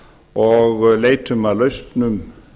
og leitum að lausnum